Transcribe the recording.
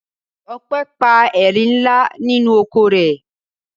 Ope pa erin ńlá nínú oko rẹ̀.